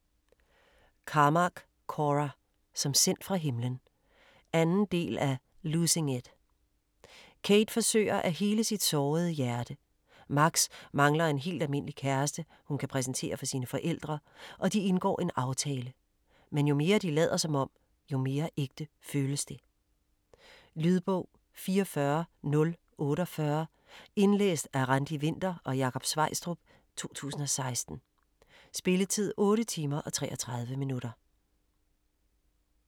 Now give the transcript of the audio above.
Carmack, Cora: Som sendt fra himlen 2. del af Losing it. Cade forsøger at hele sit sårede hjerte. Max mangler en helt almindelig kæreste, hun kan præsentere for sine forældre og de indgår en aftale. Men jo mere de lader som om, jo mere ægte føles det. Lydbog 44048 Indlæst af Randi Winther og Jakob Sveistrup, 2016. Spilletid: 8 timer, 33 minutter.